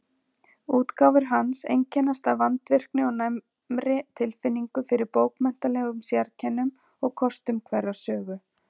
Útgáfur hans einkennast af vandvirkni og næmri tilfinningu fyrir bókmenntalegum sérkennum og kostum hverrar sögu.